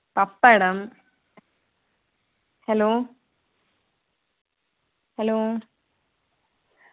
pappadam hello hello